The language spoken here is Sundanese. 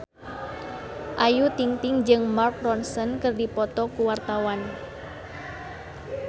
Ayu Ting-ting jeung Mark Ronson keur dipoto ku wartawan